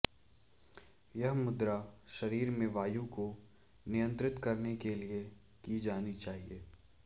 यह मुद्रा शरीर में वायु को नियंत्रित करने के लिये की जानी चाहिये